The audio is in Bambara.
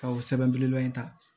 Ka o sɛbɛn belebeleba in ta